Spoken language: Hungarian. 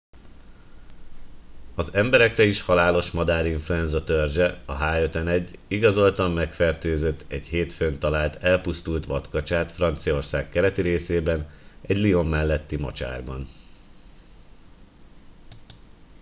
az emberekre is halálos madárinfluenza törzse a h5n1 igazoltan megfertőzött egy hétfőn talált elpusztult vadkacsát franciaország keleti részében egy lyon melletti mocsárban